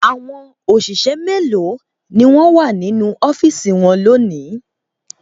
Àwọn òṣìṣẹ́ mélòó ni wọ́n wà nínú ọ́fíísì wọn lónìí?